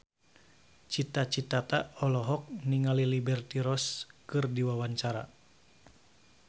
Cita Citata olohok ningali Liberty Ross keur diwawancara